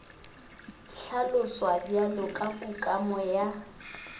hlaloswa bjalo ka kukamo ya